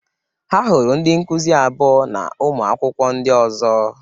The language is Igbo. Ha hụrụ ndị nkụzi abụo na ụmụ akwụkwọ ndị ọzọ